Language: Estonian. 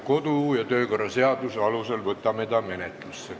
Kodu- ja töökorra seaduse alusel võtame ta menetlusse.